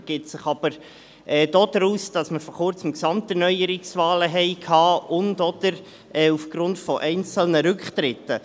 Es ergibt sich aber aus den Gesamterneuerungswahlen, die wir vor Kurzem hatten, und/oder aufgrund einzelner Rücktritten.